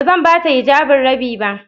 Ba zan ba ta hijabin Rabi ba.